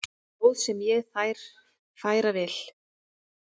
Ljóð sem ég þér færa vil.